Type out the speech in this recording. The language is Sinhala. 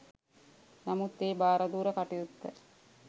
නමුත් ඒ භාරදූර කටයුත්ත